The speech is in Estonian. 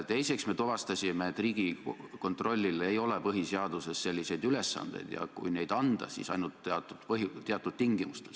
Teiseks, me tuvastasime, et Riigikontrollil ei ole põhiseaduses selliseid ülesandeid, ja kui neid anda, siis ainult teatud tingimustel.